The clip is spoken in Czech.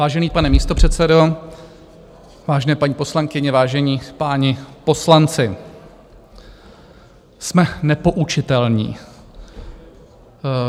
Vážený pane místopředsedo, vážené paní poslankyně, vážení páni poslanci, jsme nepoučitelní.